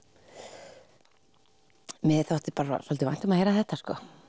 mér þótti svolítið vænt um að heyra þetta